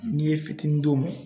N'i ye fitinin d'u ma